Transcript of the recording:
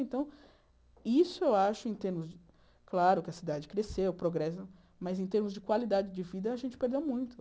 Então, isso eu acho, em termos de... Claro que a cidade cresceu, progresso, mas em termos de qualidade de vida, a gente perdeu muito.